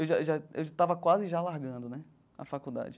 Já já já eu já estava quase já largando né a faculdade.